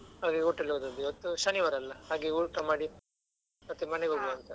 ಹಾಗಾಗಿ hotel ಗೆ ಹೋದದ್ದು, ಇವತ್ತು ಶನಿವಾರ ಅಲ್ಲ ಹಾಗೆ ಊಟ ಮಾಡಿ ಮತ್ತೆ ಮನೆಗೆ ಹೋಗುವ ಅಂತ.